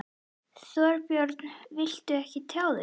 Þorbjörn: Viltu ekki tjá þig?